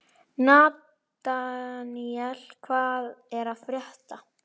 Nataníel, hvað er að frétta?